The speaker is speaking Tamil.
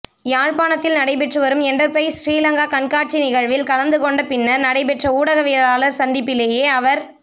யாழ்ப்பாணத்தில் நடைபெற்று வரும் என்டப்பிரைஸ் சிறிலங்கா கண்காட்சி நிகழ்வில் கலந்து கொண்ட பின்னர் நடைபெற்ற ஊடகவியலாளர் சந்திப்பிலேயே அவர்